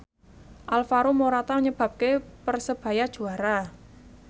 Alvaro Morata nyebabke Persebaya juara